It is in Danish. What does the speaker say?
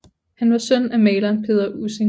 Han var søn af maleren Peder Ussing